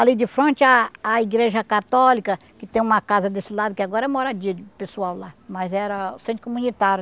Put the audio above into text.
Ali de frente, a a igreja católica, que tem uma casa desse lado, que agora é moradia de pessoal lá, mas era o centro comunitário.